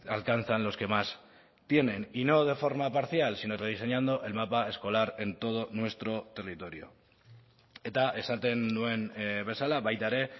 alcanzan los que más tienen y no de forma parcial sino rediseñando el mapa escolar en todo nuestro territorio eta esaten nuen bezala baita ere